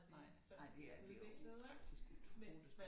Nej nej det er det jo faktisk utroligt